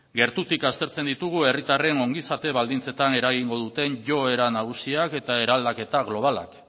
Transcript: gertutik aztertzen ditugu herritarren ongizate baldintzetan eragingo duten joera nagusiak eta eraldaketa globalak